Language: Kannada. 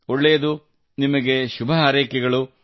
ಒಳ್ಳೆಯದು ನಿಮಗೆ ಶುಭ ಹಾರೈಕೆಗಳು